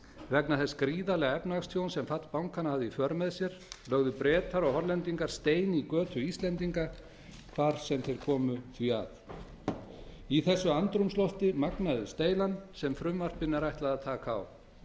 vegna þess gríðarlega efnahagstjóns sem fall bankanna hafði í för með sér lögðu bretar og hollendingar stein í götu íslendinga hvar sem þeir komu því að í þessu andrúmslofti magnaðist deilan sem frumvarpinu er ætlað að taka á